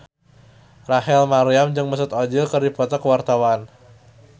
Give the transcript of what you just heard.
Rachel Maryam jeung Mesut Ozil keur dipoto ku wartawan